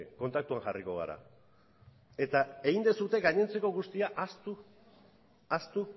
kontaktua jarriko gara eta egin duzue gainentzako guztia ahaztu ahaztu